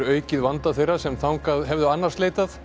aukið vanda þeirra sem þangað hefðu annars leitað